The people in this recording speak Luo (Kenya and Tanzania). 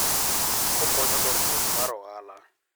Okonyo dongruok mar ohala.